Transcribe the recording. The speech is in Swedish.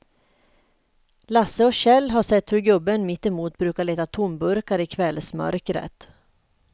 Lasse och Kjell har sett hur gubben mittemot brukar leta tomburkar i kvällsmörkret.